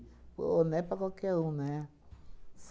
Pô, não é para qualquer um, né?